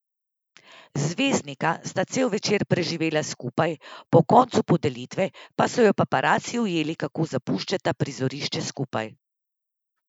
Zvezdnika sta cel večer preživela skupaj, po koncu podelitve pa so ju paparaci ujeli, kako zapuščata prizorišče skupaj.